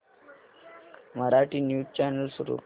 Marathi news channel सुरू कर